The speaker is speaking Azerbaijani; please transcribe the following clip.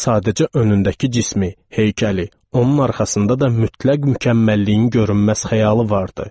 Sadəcə önündəki cismi, heykəli, onun arxasında da mütləq mükəmməlliyin görünməz xəyalı vardı.